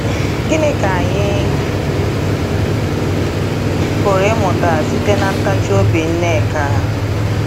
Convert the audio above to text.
Gịnị ka anyị pụrụ ịmụta site ná “ ntachi obi Nneka ”?